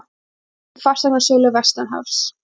Kippur í fasteignasölu vestanhafs